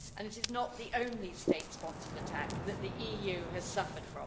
That was not the only state-sponsored attack which the EU has suffered.